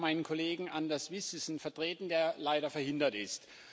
Ich darf meinen Kollegen Anders Vistisen vertreten, der leider verhindert ist.